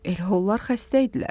Elə onlar xəstə idilər.